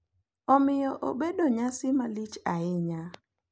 Omiyo obedo nyasi malich ahinya